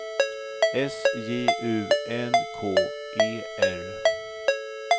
S J U N K E R